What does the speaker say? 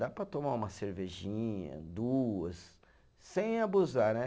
Dá para tomar uma cervejinha, duas, sem abusar, né?